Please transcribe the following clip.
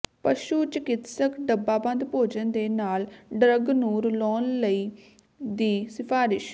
ਪਸ਼ੂ ਚਿਕਿਤਸਕ ਡੱਬਾਬੰਦ ਭੋਜਨ ਦੇ ਨਾਲ ਡਰੱਗ ਨੂੰ ਰਲਾਉਣ ਲਈ ਦੀ ਸਿਫਾਰਸ਼